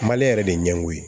Mali yɛrɛ de ɲɛ koyi